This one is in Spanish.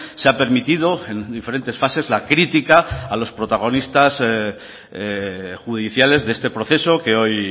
se ha permitido en diferentes fases la crítica a los protagonistas judiciales de este proceso que hoy